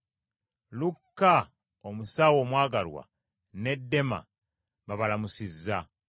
Lukka, omusawo omwagalwa ne Dema, babalamusizza.